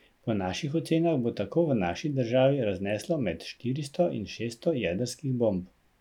Po naših ocenah bo tako v naši državi razneslo med štiristo in šeststo jedrskih bomb.